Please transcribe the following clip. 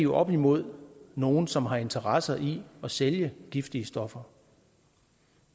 oppe imod nogle som har interesse i at sælge giftige stoffer